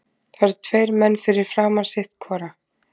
Það eru tveir menn fyrir framan sitt hvora.